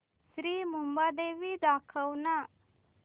श्री मुंबादेवी दाखव ना